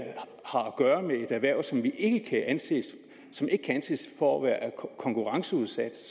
gøre med et erhverv som ikke kan anses for at være konkurrenceudsat